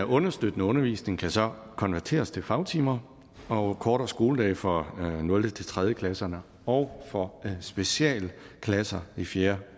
understøttende undervisning kan så konverteres til fagtimer og kortere skoledag for nulte tre klasse og for specialklasser i fjerde